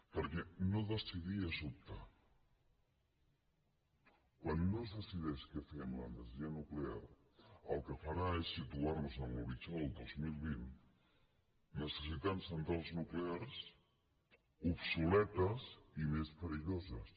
perquè no decidir és optar quan no es decideix què fem amb l’energia nuclear el que farà és situar nos en l’horitzó del dos mil vint necessitant centrals nuclears obsoletes i més perilloses